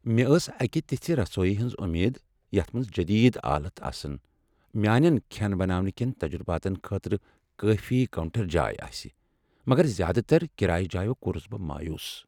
مےٚ اوس اکہ تژھہِ رسویہِ ہنز وۄمید یتھ منٛز جدید آلات آسن تہٕ میٛانٮ۪ن کھین بناونہٕ كین تجرباتن خٲطرٕ کٲفی کاونٛٹر جاے آسہ، مگر زیٛادٕ تر کرایہ جایو کوٚرس بہٕ مایوٗس۔